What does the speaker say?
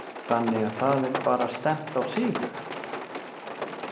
Þannig að það er bara stefnt á sigur?